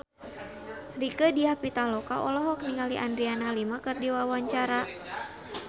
Rieke Diah Pitaloka olohok ningali Adriana Lima keur diwawancara